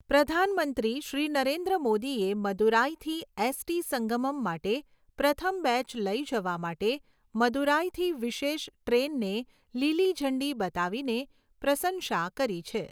પ્રધાનમંત્રી શ્રી નરેન્દ્ર મોદીએ મદુરાઈથી એસટી સંગમમ માટે પ્રથમ બેચ લઈ જવા માટે મદુરાઈથી વિશેષ ટ્રેનને લીલી ઝંડી બતાવીને પ્રસંશા કરી છે.